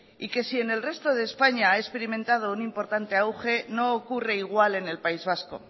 y que si en el resto de españa ha experimentado un importante auge no ocurre igual en el país vasco